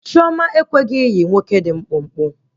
Chioma ekweghị ịyị nwoke dị mkpụmkpụ